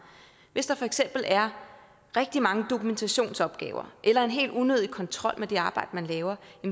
hvis der for eksempel er rigtig mange dokumentationsopgaver eller en helt unødig kontrol med det arbejde man laver